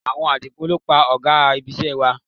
Awọn adigunjalè ni o pa ò̩gá ibisé̩ wa